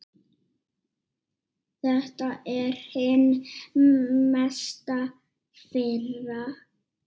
Þetta er hin mesta firra.